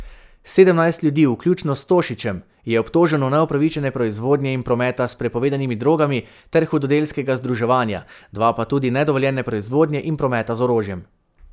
Sedemnajst ljudi, vključno s Tošićem, je obtoženo neupravičene proizvodnje in prometa s prepovedanimi drogami ter hudodelskega združevanja, dva pa tudi nedovoljene proizvodnje in prometa z orožjem.